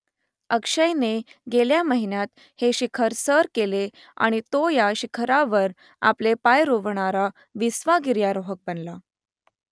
अक्षयने गेल्या महिन्यात हे शिखर सर केले आणि तो या शिखरावर आपले पाय रोवणारा विसावा गिर्यारोहक बनला